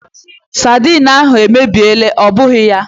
Saidin ahụ èmèbịèlà, ọ bụghị ya?